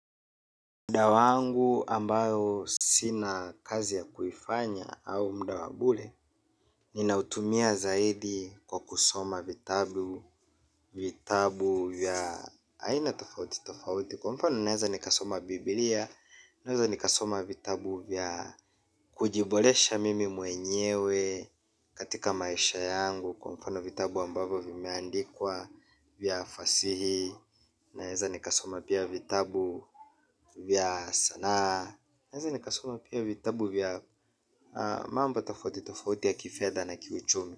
Mda wangu ambao sina kazi ya kuifanya au mda wa bure. Nina utumia zaidi kwa kusoma vitabu. Vitabu vya aina tofauti tofauti kwa mfano naeza nikasoma biblia. Naeza nikasoma vitabu vya kujiboresha mimi mwenyewe katika maisha yangu. Kwa mfano vitabu ambayo vimeandikwa vya fasihi naeza nikasoma pia vitabu vya sanaa. Naeza nikasoma pia vitabu vya mambo tafauti tofauti ya kifedha na kiuchumi.